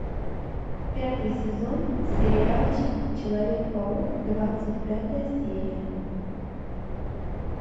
пятый сезон сериальчик человек паук двадцать пятая серия